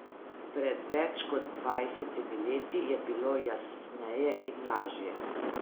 Pred več kot dvajsetimi leti je bilo jasneje in lažje.